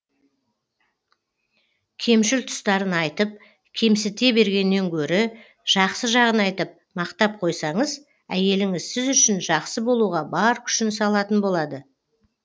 кемшіл тұстарын айтып кемсіте бергеннен гөрі жақсы жағын айтып мақтап қойсаңыз әйеліңіз сіз үшін жақсы болуға бар күшін салатын болады